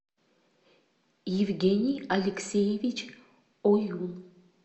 евгений алексеевич оюн